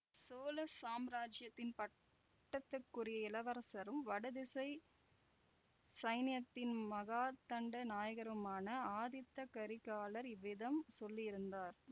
சோழ சாம்ராஜ்யத்தின் பட்டத்துக்குரிய இளவரசரும் வடதிசைச் சைனியத்தின் மகாதண்ட நாயகருமான ஆதித்த கரிகாலர் இவ்விதம் சொல்லியிருந்தார்